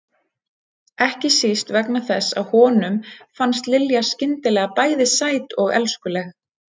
Ekki síst vegna þess að honum fannst Lilja skyndilega bæði sæt og elskuleg.